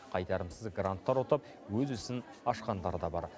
қайтарымсыз гранттар ұтып өз ісін ашқандары да бар